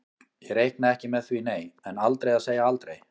Ég reikna ekki með því nei, en aldrei að segja aldrei.